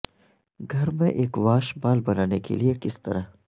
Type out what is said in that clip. گھر میں ایک واش بال بنانے کے لئے کس طرح